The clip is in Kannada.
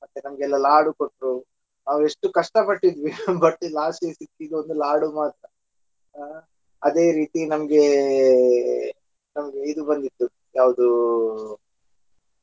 ಮತ್ತೆ ನಮಗೆಲ್ಲ ಲಾಡು ಕೊಟ್ರೂ ನಾವ್ ಎಷ್ಟು ಕಷ್ಟ ಪಟ್ಟಿದ್ವಿ but, last ಗೆ ಸಿಕ್ಕಿದ್ದು ಒಂದು ಲಾಡು ಮಾತ್ರ ಹಾ ಅದೆ ರೀತಿ ನಮ್ಗೆ ನಮ್ಗೆ ಇದು ಬಂದಿತ್ತು ಯಾವ್ದು.